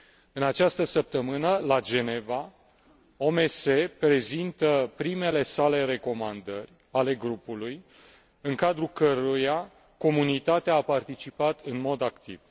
În această sătămână, la Geneva, OMS prezintă primele sale recomandări, ale grupului în cadrul căruia Comunitatea a participat în mod activ.